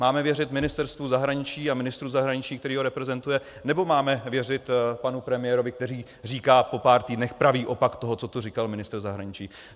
Máme věřit Ministerstvu zahraničí a ministru zahraničí, který ho reprezentuje, nebo máme věřit panu premiérovi, který říká po pár týdnech pravý opak toho, co tu říkal ministr zahraničí?